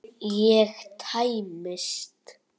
Ég tæmist.